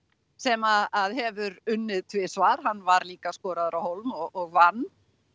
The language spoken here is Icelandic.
sem hefur unnið tvisvar hann var líka skoraður á hólm og vann